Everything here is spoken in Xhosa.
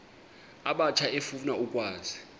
abatsha efuna ukwazi